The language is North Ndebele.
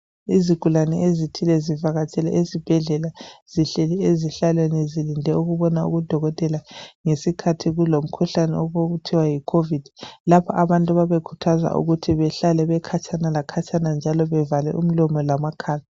Izigulane ezithile ezivakatshele esibhedlela zihleli ezihlalweni zilinde ukubona udokotela ngesikhathi kulomkhuhlane okuthiwa yicovid 19 lapho abantu ababekhuthazwa khona behlale bekhatshana lakhatshana njalo bevale umlomo lamakhala